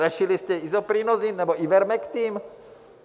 Řešili jste Isoprinosine nebo Ivermektin?